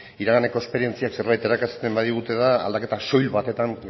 iraganeko esperientziak zerbait irakasten badigute da aldaketa soil batetan